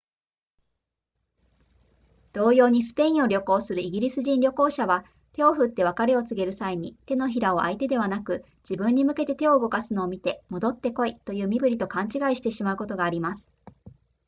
同様にスペインを旅行するイギリス人旅行者は手を振って別れを告げる際に手のひらを相手ではなく自分に向けて手を動かすのを見て戻って来いという身振りと勘違いしてしまうことがあります